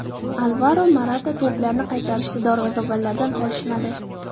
Alvaro Morata to‘plarni qaytarishda darvozabonlardan qolishmadi.